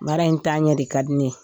Bara in t'a ɲɛ de ka di ne ye.